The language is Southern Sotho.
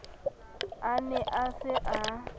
a ne a se a